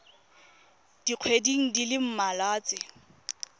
dikgweding di le mmalwa tse